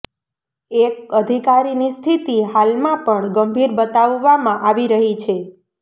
એક અધિકારીની સ્થિતિ હાલમાં પણ ગંભીર બતાવવામાં આવી રહી છે